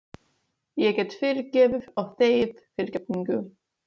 Ég get fyrirgefið og þegið fyrirgefningu.